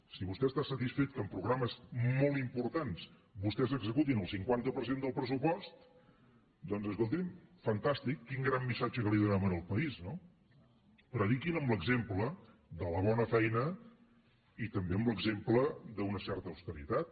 si vostè està satisfet que en pro·grames molt importants vostès executin el cinquanta per cent del pressupost doncs escolti’m fantàstic quin gran missatge que li donem al país no prediquin amb l’exemple de la bona feina i també amb l’exemple d’una certa austeritat